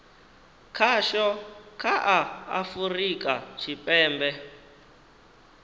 khasho kha a afurika tshipembe